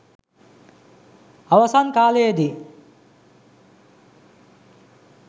අවසන් කාලයේදී